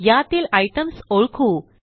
यातील आयटीईएमएस ओळखू